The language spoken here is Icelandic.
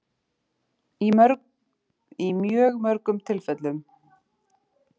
Í mjög mörgum tilfellum þurfum við ekki að bregðast við áreitinu eða tilfinningunni.